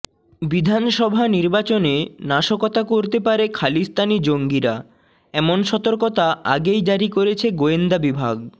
বিধানসভা নির্বাচনে নাশকতা করতে পারে খালিস্তানি জঙ্গিরা এমন সতর্কতা আগেই জারি করেছে গোয়েন্দা বিভাগ